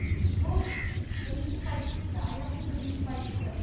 бұл бірінші позиция аяқтың бірінші позициясы